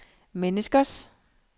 menneskers